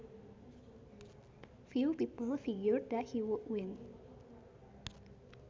Few people figured that he would win